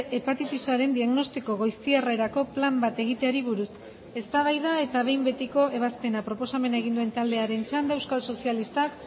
hepatitisaren diagnostiko goiztiarrerako plan bat egiteari buruz eztabaida eta behin betiko ebazpena proposamena egin duen taldearen txanda euskal sozialistak